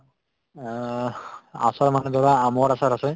অহ্ , আচাৰ মানে ধৰা আমৰ আচাৰ আছে